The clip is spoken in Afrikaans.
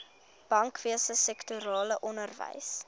bankwese sektorale onderwys